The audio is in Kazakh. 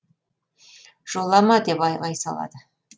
жолама деп айғай салады